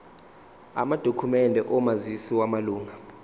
amadokhumende omazisi wamalunga